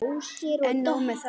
En nóg með það.